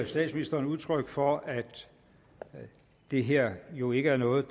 statsministeren udtryk for at det her jo ikke er noget